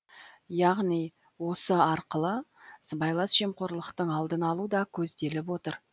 яғни осы арқылы сыбайлас жемқорлықтың алдын алу да көзделіп отыр